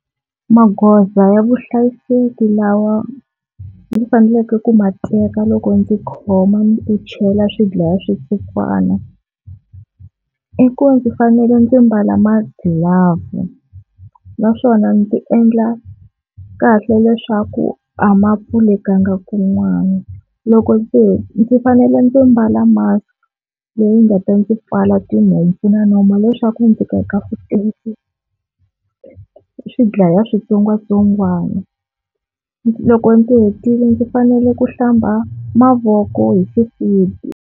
Magoza ya vuhlayiseki lawa ndzi faneleke ku ma teka loko ndzi khoma ni ku chela swidlaya switsotswana, i ku ndzi fanele ndzi mbala magilavhu naswona ndzi endla kahle leswaku a ma pfulekanga kun'wana. Loko ndzi ndzi fanele ndzi mbala mask leyi nga ta ndzi pfala tinhompfu na nomo leswaku ndzi ku swidlaya switsongwatsongwana loko ndzi hetile ndzi fanele ku hlamba mavoko hi xisibi.